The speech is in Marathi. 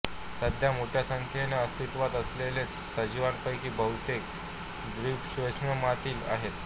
सध्या मोठ्या संख्येने आस्तित्वात असलेल्या सजीवापैकी बहुतेक द्विपार्श्वसममित आहेत